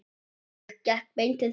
Ég gekk beint til þín.